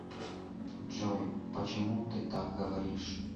джой почему ты так говоришь